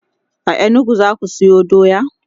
a inugu zaka Sayo doya?